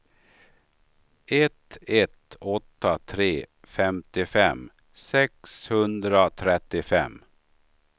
ett ett åtta tre femtiofem sexhundratrettiofem